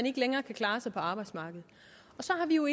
ikke længere kan klare sig på arbejdsmarkedet så har vi jo